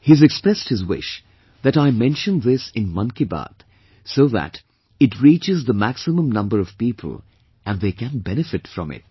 He has expressed his wish that I mention this in 'Mann Ki Baat', so that it reaches the maximum number of people and they can benefit from it